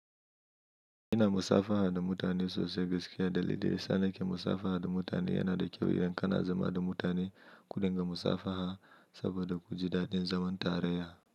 Ina musafaha da mutane sosai gaskiya dalili sanake musafaha da mutane yana da kyau idan kana zama da mutane ku dinga musafaha saboda ku ji daɗin zaman tare.